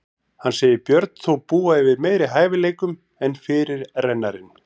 Hann segir Björn þó búa yfir meiri hæfileikum en fyrirrennarinn.